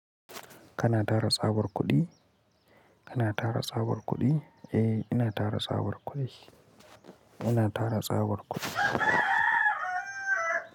Kana tara tsabar kuɗi? Kana tara tsabar kuɗi? Eh, ina tara tsabar kuɗi. Ina tara tsabar kuɗi.